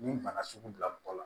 Ni bana sugu bila mɔgɔ la